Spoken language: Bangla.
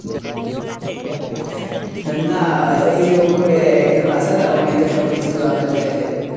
নাহ ওইযে উপরে একজন আছে না, উনি তো সব কিছু জানেন দেখেন।